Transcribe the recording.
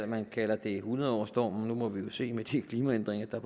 man kalder det hundredårsstormen nu må vi se med de klimaændringer der